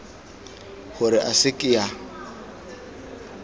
gore a se ke a